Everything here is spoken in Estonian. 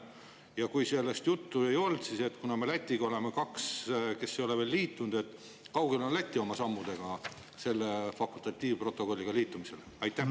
Ja kui sellest juttu ei olnud, siis kuna me Lätiga oleme kaks, kes ei ole veel liitunud: kui kaugel on Läti oma sammudega selle fakultatiivprotokolliga liitumisel?